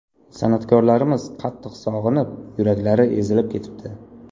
San’atkorlarimiz qattiq sog‘inib, yuraklari ezilib ketibdi.